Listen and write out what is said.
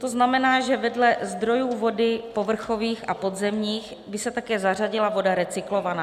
To znamená, že vedle zdrojů vody povrchových a podzemních by se také zařadila voda recyklovaná.